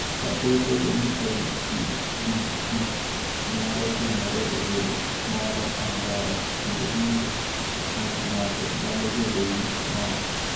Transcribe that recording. Kata obedo ni LCDD nyalo timore e del moro amora, kinde duto ng’ut ng’ato nyalo bedo gi ng’ol.